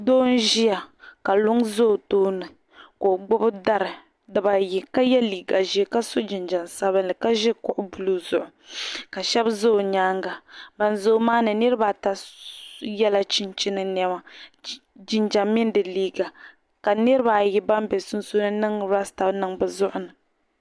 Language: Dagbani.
Doo nʒiya ka luŋ ʒi ɔ tooni ka ɔgbubi dari dibayi ka ye liiga ʒɛɛ ka sɔ jinjam sabinli ka ʒi kuɣu blue zuɣu, ka shabi ʒa ɛ nyaaŋa, ban ʒaya maami niribi ata yela chinchini ni di liiga ka niribi ayi ban be sun suuni nya ban niŋ rasta niŋ bɛ zuɣurini